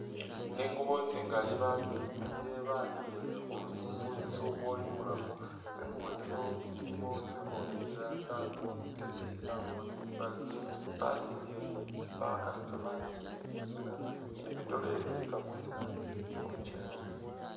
Tsingubo tsingali basingile banikhile khutsisubo ibulafu, tsingubo tsino tsilimo tsi kofila tsabamo bi teteyi, tsabamo tsimbale , basingile ni tsi bag natso banikhile mwisina ni bi dolle bilika mwisina khulukyewa.